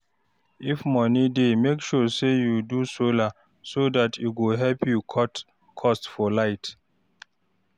if moni dey, mek sure say yu do solar so dat e go help cut cost for light